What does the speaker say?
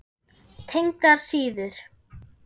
Tengdar síður